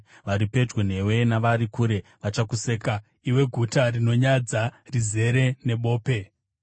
Vari pedyo newe navari kure vachakuseka, iwe guta rinonyadza, rizere nebope.